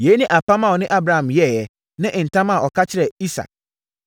Yei ne apam a ɔne Abraham yɛeɛ ne ntam a ɔka kyerɛɛ Isak.